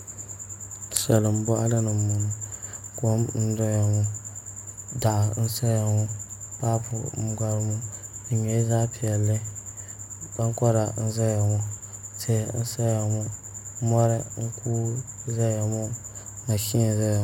Salin boɣali ni n boŋo kom n doya ŋo daɣu n saya ŋo paapu n gari ŋo di nyɛla zaɣ piɛlli ankora n ʒɛya ŋo tihi n saya ŋo mori n kuui n ʒɛya ŋo mashin n ʒɛya ŋo